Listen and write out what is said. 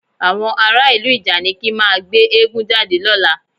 Àwọn ará ìlú ìjànikin máa gbé eégún jáde lọ́la